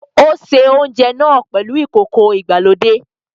O ṣe oúnjẹ náà pèlú ìkókó ìgbàlódé